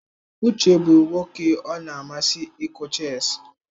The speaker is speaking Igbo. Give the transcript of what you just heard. Uche bụ nwoke ọ na-amasị ịkụ chess.